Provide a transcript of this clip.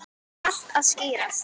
Allt að skýrast